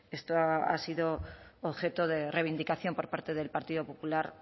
esto ha sido objeto de reivindicación por parte del partido popular